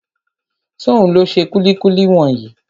Ṣóhun ló ṣe kúlíkúlí wọ̀nyí?